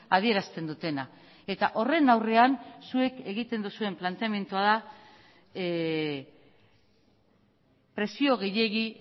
adierazten dutena eta horren aurrean zuek egiten duzuen planteamendua da presio gehiegi